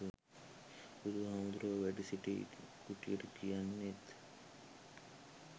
බුදු හාමුදුරුවො වැඩසිටි කුටියට කියන්නෙත්